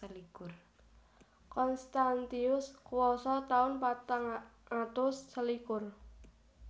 Constantius kuwasa taun patang atus selikur